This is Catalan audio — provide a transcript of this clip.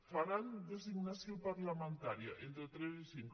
faran designació parlamentària entre tres i cinc